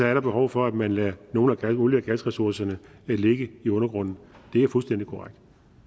er behov for at man lader nogle af olie og gasressourcerne ligge i undergrunden det er fuldstændig korrekt